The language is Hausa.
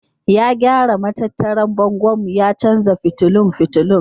Ya gyara matattarar bangonmu ya canza fitulun fitulun.